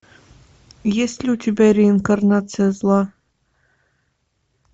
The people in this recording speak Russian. есть ли у тебя реинкарнация зла